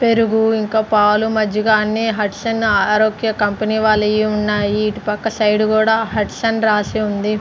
పెరుగు ఇంకా పాలు మజ్జిగా అన్ని హట్స్ అండ్ ఆరోగ్య కంపెనీ వాళ్ళయి ఉన్నాయి ఇటు పక్క సైడ్ కూడా హట్స్ రాసి ఉంది .